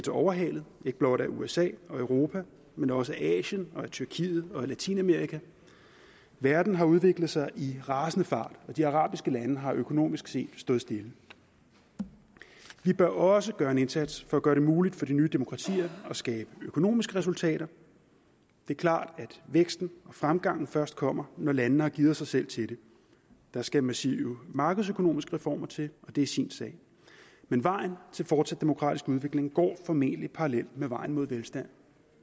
overhalet ikke blot af usa og europa men også af asien tyrkiet og latinamerika verden har udviklet sig i rasende fart og de arabiske lande har økonomisk set stået stille vi bør også gøre en indsats for at gøre det muligt for de nye demokratier at skabe økonomiske resultater det er klart at væksten og fremgangen først kommer når landene har gearet sig selv til det der skal massive markedsøkonomiske reformer til og det er sin sag men vejen til fortsat demokratisk udvikling går formentlig parallelt med vejen mod velstand